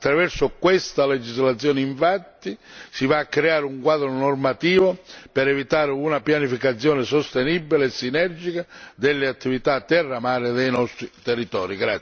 Attraverso questa legislazione, infatti, si va a creare un quadro normativo per evitare una pianificazione sostenibile e sinergica delle attività terra mare dei nostri territori.